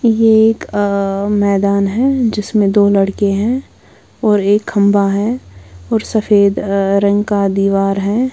ये एक अह मैदान है जिसमें दो लड़के हैं और एक खंबा है और सफेद रंग का दीवार है।